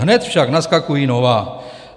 Hned však naskakují nová.